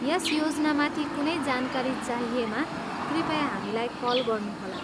यस योजनामाथि कुनै जानकारी चाहिएमा कृपया हामीलाई कल गर्नुहोला।